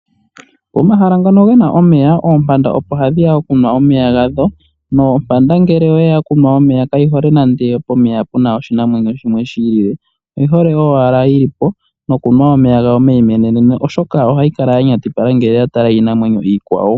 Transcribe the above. Pomahala mpono puna omeya, oompanda opo hadhi ya okunwa omeya gadho, nompanda ngele oyeya okunwa omeya kayi hole nande pomeya puna oshinamwenyo shimwe shi ili, oyi hole owala oyo yilipo, nokunwa omeya gawo meyimweneneno oshoka ohayi kala ya nyatipala ngele oya tala iinamwenyo iikwawo.